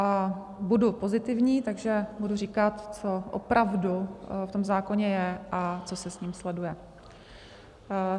A budu pozitivní, takže budu říkat, co opravdu v tom zákoně je a co se s ním sleduje.